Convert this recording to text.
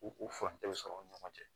U furancɛw sɔrɔ u ni ɲɔgɔn cɛ